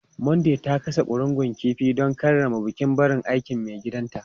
Mandy ta gasa ƙurungun kifi don karrama bukin barin aikin maigidanta.